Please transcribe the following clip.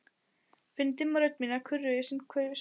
Finn dimma rödd mína kurra í hverju sundtaki.